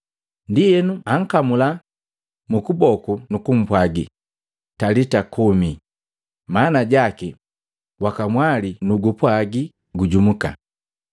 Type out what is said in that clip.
Ndienu ankamula mukuboku nukumpwagi, “Talita kumi,” maana jaki, “Wakamwali, nugupwagi gujumka!”